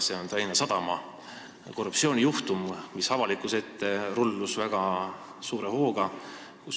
See on Tallinna Sadama korruptsioonijuhtum, mis avalikkuse ees rullus lahti väga suure hooga.